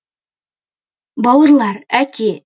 бауырлар әке